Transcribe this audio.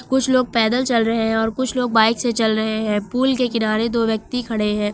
कुछ लोग पैदल चल रहे हैं और कुछ लोग बाइक से चल रहे हैं पुल के किनारे दो व्यक्ति खड़े हैं।